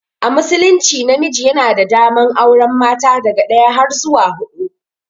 A musulunci namiji yana da daman auren mata daga daya har zuwa hudu.